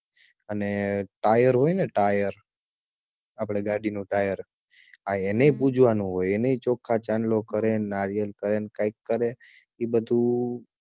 અને ટાયર હોય ને ટાયર આપડે ગાડીનું ટાયર આ એને પૂજવાનું હોય એને ચોખાં ચાંદલો કરે નારિયલ કરે ને કાઈક કરે ઈ બધું